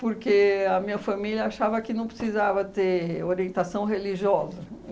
porque a minha família achava que não precisava ter orientação religiosa.